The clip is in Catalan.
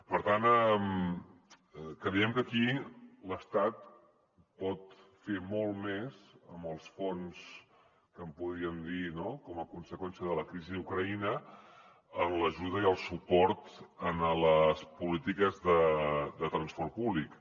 per tant creiem que aquí l’estat pot fer molt més amb els fons que en podríem dir no com a conseqüència de la crisi d’ucraïna en l’ajuda i el suport en les polítiques de transport públic